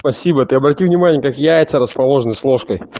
спасибо ты обрати внимание как яйца расположены с ложкой